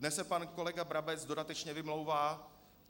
Dnes se pan kolega Brabec dodatečně vymlouvá.